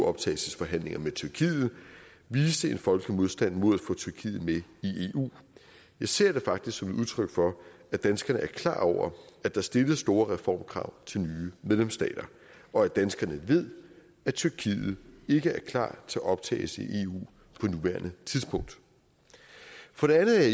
optagelsesforhandlinger med tyrkiet viste en folkelig modstand mod at få tyrkiet med i eu jeg ser det faktisk som et udtryk for at danskerne er klar over at der stilles store reformkrav til nye medlemsstater og at danskerne ved at tyrkiet ikke er klar til optagelse i eu på nuværende tidspunkt for det andet er